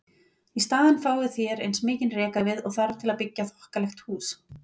Í staðinn fáið þér eins mikinn rekavið og þarf til að byggja þokkalegt hús.